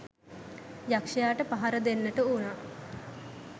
යක්‍ෂයාට පහර දෙන්නට වුණා.